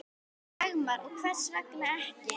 Dagmar: Og hvers vegna ekki?